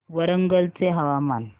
वरंगल चे हवामान